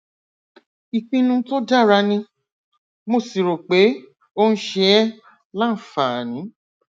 ìpinnu tó dára ni mo sì rò pé ó ń ṣe ẹ láǹfààní